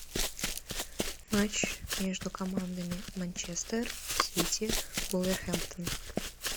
матч между командами манчестер сити вулверхэмптон